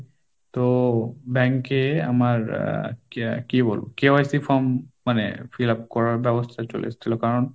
তো bank এ আমার আহ কি বলবো KYC form মানে fill up করার ব্যবস্থা চলে এসেছিল। কারণ!